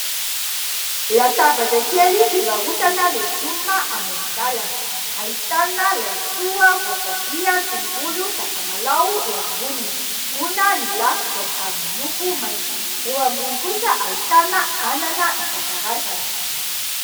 Latabatra kely fivarotana legioma amoron-dalana. Ahitana laisoa, voatabia, tongolo, sakamalaho eo amboniny. Gona ny lafikany ary miloko maitso. Eo ambony kosa ahitana anana isan-karazany.